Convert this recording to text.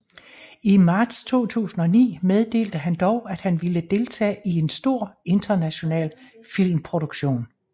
I marts 2009 meddelte han dog at han ville deltage i en stor international filmproduktion